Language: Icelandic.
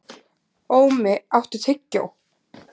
Ómi, áttu tyggjó?